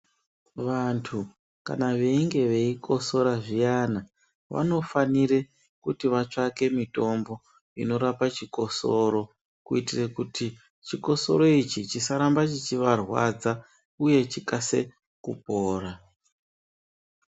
Vantu kana veinge veyi kotsora zviyana vano fanire kuti vatsvake mitombo inorapa chikosoro kuiitire kuti chikosoro ichi chisaramba chichi varwadza uye chikasike kupora.